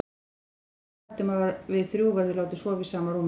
Hún er bara lafhrædd um að við þrjú verðum látin sofa í sama rúmi.